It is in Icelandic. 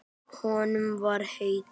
Honum var heitt.